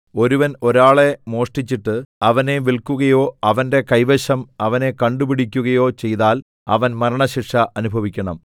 ഒരുവൻ ഒരാളെ മോഷ്ടിച്ചിട്ട് അവനെ വില്ക്കുകയോ അവന്റെ കൈവശം അവനെ കണ്ടു പിടിക്കുകയോ ചെയ്താൽ അവൻ മരണശിക്ഷ അനുഭവിക്കണം